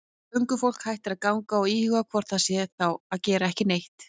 Göngufólk hættir að ganga og íhugar hvort það sé þá að gera ekki neitt.